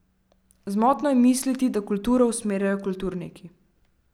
Zmotno je misliti, da kulturo usmerjajo kulturniki.